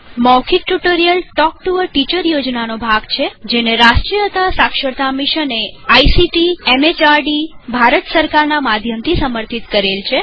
મૌખિક tutorial talk to a teacher યોજના નો ભાગ છેજેને રાષ્ટ્રીય સાક્ષરતા મિશને ictમેહર્દ ભારત સરકારના માધ્યમથી સમર્થિત કરેલ છે